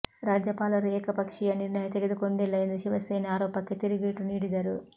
ರಾಜ್ಯಪಾಲರು ಏಕಪಕ್ಷೀಯ ನಿರ್ಣಯ ತೆಗೆದುಕೊಂಡಿಲ್ಲ ಎಂದು ಶಿವಸೇನೆ ಆರೋಪಕ್ಕೆ ತಿರುಗೇಟು ನೀಡಿದರು